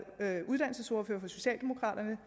været uddannelsesordfører for socialdemokraterne